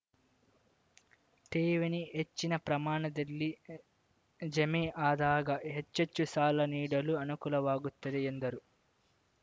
ಠೇವಣಿ ಹೆಚ್ಚಿನ ಪ್ರಮಾಣದಲ್ಲಿ ಜಮೆ ಆದಾಗ ಹೆಚ್ಚೆಚ್ಚು ಸಾಲ ನೀಡಲು ಅನುಕೂಲವಾಗುತ್ತದೆ ಎಂದರು